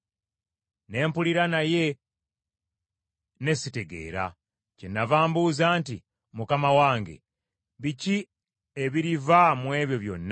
Ne mpulira naye ne sitegeera. Kyennava mbuuza nti, “Mukama wange, biki ebiriva mu ebyo byonna?”